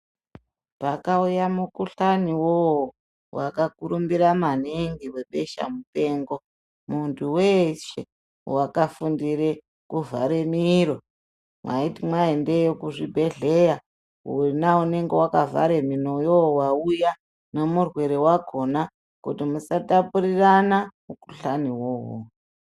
Pakauya mukuhlani vovo vakakurumbira maningi vebeshamupengo. Muntu veshe vakafundire kuvhare miro mwaiti mwaendeyo kuzvibhedhleya vona unonga vakavhare miroyo vaiuya nemurwere vakona, kuti musatapurirana mukuhlani vovovo.